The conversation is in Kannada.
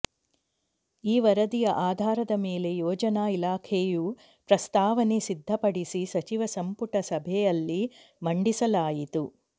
ಈ ವರದಿಯ ಆಧಾರದ ಮೇಲೆ ಯೋಜನಾ ಇಲಾಖೆಯು ಪ್ರಸ್ತಾವನೆ ಸಿದ್ಧಪಡಿಸಿ ಸಚಿವ ಸಂಪುಟ ಸಭೆಯಲ್ಲಿ ಮಂಡಿಸಲಾಯಿತು